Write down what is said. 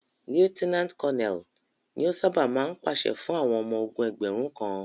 Lieutenant Colonel ni o ṣábà máa ń pàṣẹ fún àwọn ọmọ ogún ẹgbẹ̀rún kan.